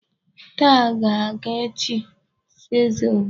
Taa ka a ga-echi eze obodo.